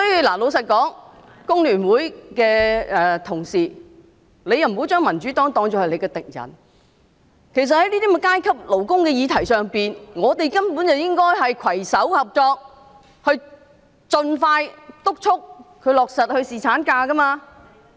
老實說，工聯會的同事不應把民主黨當作敵人，在這種有關勞工階級的議題上，大家應攜手合作，盡快督促政府落實侍產假。